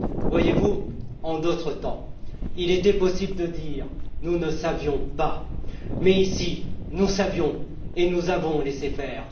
Voyez vous, en d'autres temps, il était possible de dire nous ne savions pas, mais ici nous savions et nous avons laissé faire.